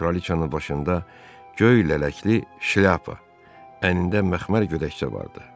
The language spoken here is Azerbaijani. Kraliçanın başında göy lələkli şlyapa, əynində məxmər gödəkçə vardı.